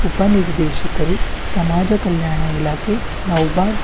ಉಪ ನಿರ್ದೇಶಕರು ಸಮಾಜ ಕಲ್ಯಾಣ ಇಲಾಖೆ ನೌಬಾದ್--